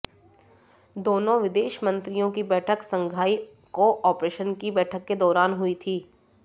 दोनों विदेश मंत्रियों की बैठक शंघाई कोऑपरेशन की बैठक के दौरान हुई थी